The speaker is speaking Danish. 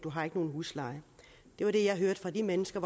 har ikke nogen husleje det var det jeg hørte fra de mennesker